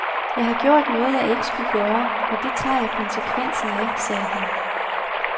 Jeg har gjort noget, jeg ikke skulle gøre, og det tager jeg konsekvensen af, siger han.